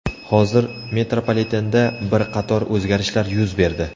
Hozir metropolitenda bir qator o‘zgarishlar yuz berdi.